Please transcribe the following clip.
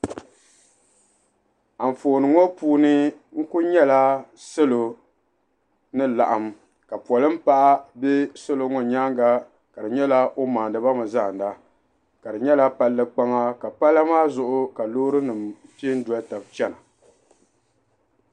anfooni ŋɔ puuni n-ku nyala salo ni laɣim ka polin' paɣa be salo ŋɔ nyaaga ka di nyɛla o maandi ba mi zaanda ka di nyɛla palli kpaŋa ka pala maa zuɣu ka loorinima pe n-doli taba chana.